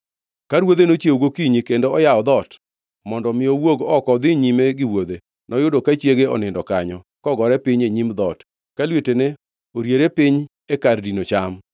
Ka ruodhe nochiewo gokinyi kendo oyawo dhoot mondo mi owuog oko odhi nyime gi wuodhe, noyudo ka chiege onindo kanyo, kogore piny e nyim dhoot, ka lwetene oriere piny e kar dino cham.